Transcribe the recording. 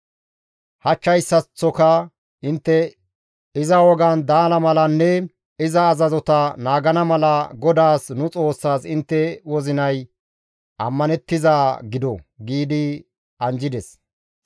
Hachchayssaththoka intte iza wogaan daana malanne iza azazota naagana mala GODAAS, nu Xoossaas intte wozinay ammanettizaa gido» gi anjjides.